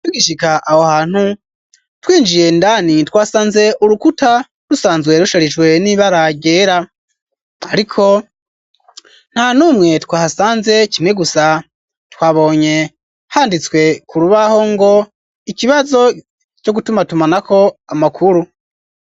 Tugishika aho hantu twinjiye indani twasanze urukuta rusanzwe rusharijwe n'ibara ryera ariko nta numwe twasanze kimwe gusa twabonye handitswe ku rubaho ngo ikibazo co gutumatumanako amakuru .